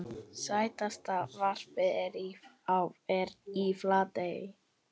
Stærsta varpið er í Flatey.